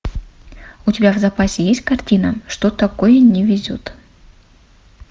у тебя в запасе есть картина что такое не везет